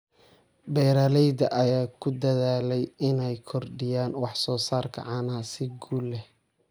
Beeralayda ayaa ku dadaalaya inay kordhiyaan wax soo saarka caanaha si guul leh.